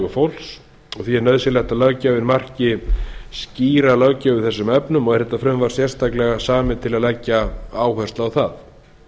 fólks og því er nauðsynlegt að löggjafinn marki skýra löggjöf í þessum efnum og er þetta frumvarp sérstaklega samið til að leggja áherslu á það